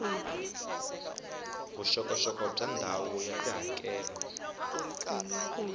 vuxokoxoko bya ndhawu ya tihakelo